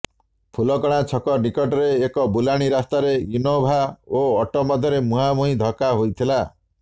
ଫୁଲକଣା ଛକ ନିକଟରେ ଏକ ବୁଲାଣି ରାସ୍ତାରେ ଇନୋଭା ଓ ଅଟୋ ମଧ୍ୟରେ ମୁହାଁମୁହିଁ ଧକ୍କା ହୋଇଥିଲା